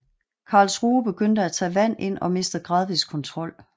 Karlsruhe begyndte at tage vand ind og mistede gradvist kontrol